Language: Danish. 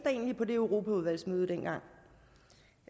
på det europaudvalgsmøde dengang